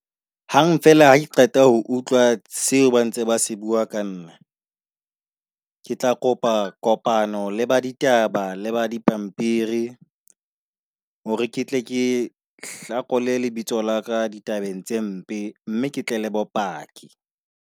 Hang fela hake qeta ho utlwa seo ba ntse ba se bua ka nna. Ke tla kopa kopano le ba ditaba le ba dipampiri hore ke tle ke hlakole lebitso laka ditabeng tse mpe. Mme ke tle le bopaki.